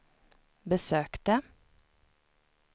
besökte